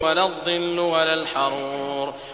وَلَا الظِّلُّ وَلَا الْحَرُورُ